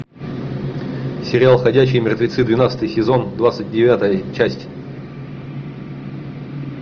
сериал ходячие мертвецы двенадцатый сезон двадцать девятая часть